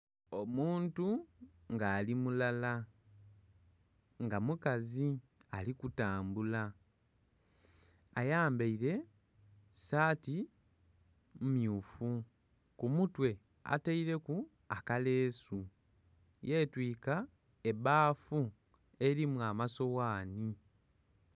Omuntu nga ali mulala nga mukazi ali kutambula. Ayambaile saati mmyufu. Ku mutwe ataileku akaleesu, yetwiika ebbafu elimu amasoghani.